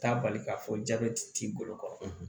Taa bali k'a fɔ jabɛti t'i bolo kɔrɔ